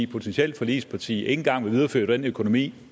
potentielt forligsparti ikke engang vil videreføre den økonomi